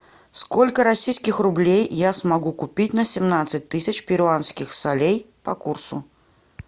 сколько российских рублей я смогу купить на семнадцать тысяч перуанских солей по курсу